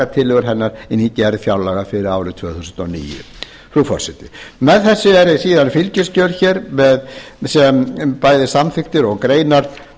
tillögur hennar inn í gerð fjárlaga fyrir árið tvö þúsund og níu frú forseti með þessu eru síðan fylgiskjöl bæði samþykktir og greinar